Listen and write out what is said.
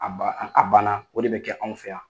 A ba a banna o de bɛ kɛ anw fɛ yan.